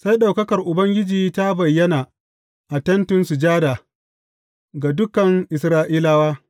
Sai ɗaukakar Ubangiji ta bayyana a Tentin Sujada ga dukan Isra’ilawa.